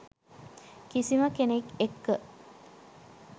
කිසිම කෙනෙක් එක්ක